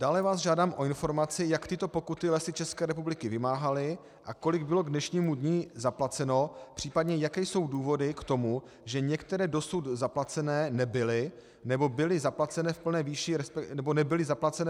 Dále vás žádám o informaci, jak tyto pokuty Lesy České republiky vymáhaly a kolik bylo k dnešnímu dni zaplaceno, případně jaké jsou důvody k tomu, že některé dosud zaplacené nebyly nebo nebyly zaplacené v plné výši, respektive byly prominuté.